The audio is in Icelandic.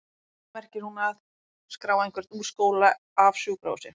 Að lokum merkir hún að?skrá einhvern úr skóla, af sjúkrahúsi?